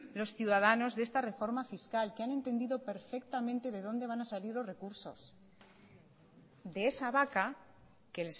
los ciudadanos de esta reforma fiscal que han entendido perfectamente de dónde van a salir los recursos de esa vaca que